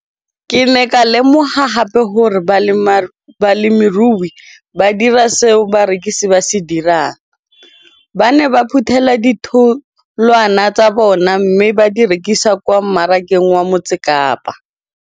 Ke ne ka lemoga gape gore balemirui ba dira seo rona barekisi re se dirang, ba ne ba phuthela ditholwana tsa bona mme ba di rekisa kwa marakeng wa Motsekapa.